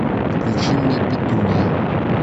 включи мне петуния